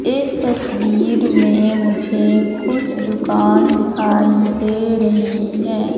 इस तस्वीर में मुझे कुछ दुकान दिखाई दे रहे हैं।